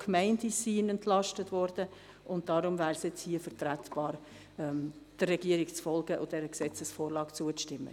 Auch Gemeinden sind entlastet worden, und deshalb wäre es hier vertretbar, der Regierung zu folgen und dieser Gesetzesvorlage zuzustimmen.